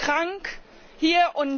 Das macht krank hier.